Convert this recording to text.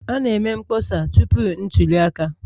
A na-eme mkpọsa tupu ntuli aka